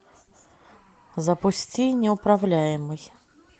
запусти неуправляемый